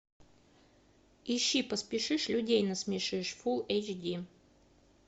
ищи поспешишь людей насмешишь фул эйч ди